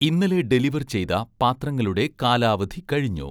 ഇന്നലെ ഡെലിവർ ചെയ്‌ത പാത്രങ്ങളുടെ കാലാവധി കഴിഞ്ഞു